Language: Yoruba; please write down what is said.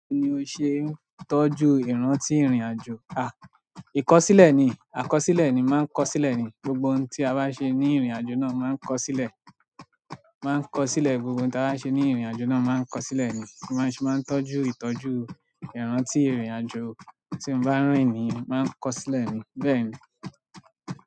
Báwo ni o ṣe ń tọ́jú ìrántí ìrìn-àjò? À, ìkọ̀sílẹ̀ ni, àkọsílẹ̀ ni, máa ń kọ sílẹ̀ ni. Gbogbo ohun tí a bá ṣe ní ìrìn-àjò náà máa ń kọ sílẹ̀. Máa ń kọ sílẹ̀, gbogbo ohun tí a bá ṣe ní ìrìn-àjò náà máa ń kọ sílẹ̀ ni. Báa ṣe, máa ń tọ́jú ìtọ́jú ìrántí ìrìn-àjò tí mo bá rìn ni máa ń kọ sílẹ̀ ni. Bẹ́ẹ̀ ni.